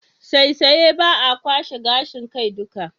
Saisaye ba a kwashe gashin kai duka.